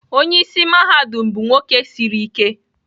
Onye isi mahadum bụ nwoke siri ike